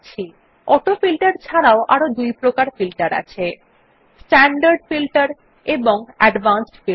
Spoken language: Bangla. অটোফিল্টের ছাড়াও আরো দুইপ্রকার ফিল্টার আছে স্ট্যান্ডার্ড ফিল্টার এবং অ্যাডভান্সড ফিল্টার